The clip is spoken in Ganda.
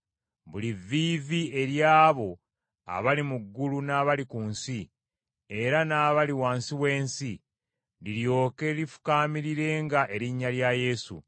buli vviivi ery’abo abali mu ggulu n’abali ku nsi, era n’abali wansi w’ensi liryoke lifukaamirirenga erinnya lya Yesu,